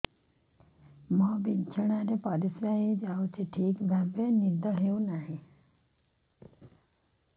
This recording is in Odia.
ମୋର ବିଛଣାରେ ପରିସ୍ରା ହେଇଯାଉଛି ଠିକ ଭାବେ ନିଦ ହଉ ନାହିଁ